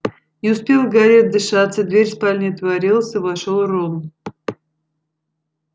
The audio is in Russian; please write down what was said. не успел гарри отдышаться дверь спальни отворилась и вошёл рон